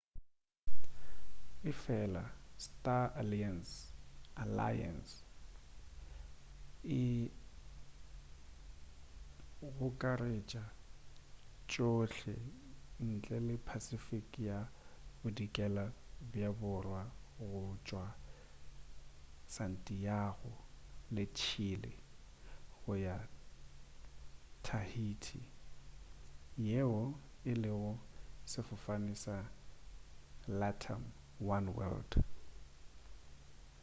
efela star alliance e gokaretša tšohle ntle le pacific ya bodikela bja borwa go tšwa santiago de chile go ya tahiti yeo e lego sefofane sa latam oneworld